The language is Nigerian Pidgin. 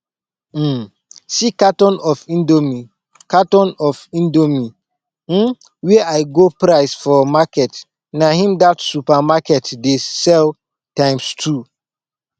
um see carton of indomie carton of indomie um wey i go price for market na im that supermarket dey sell times two